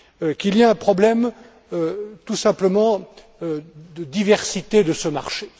qu'il y a un problème tout simplement de diversité de ce marché.